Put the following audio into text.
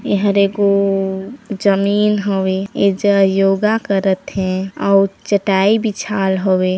ए हर एगो जमीन हवे ये ज योगा करत हे अउ चटायी बिछाल हवे।